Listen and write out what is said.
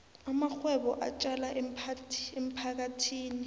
amarhwebo atjala emphakathini